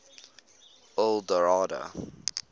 eldorado